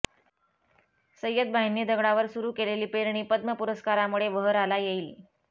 सय्यदभाईंनी दगडावर सुरू केलेली पेरणी पद्म पुरस्कारामुळे बहराला येईल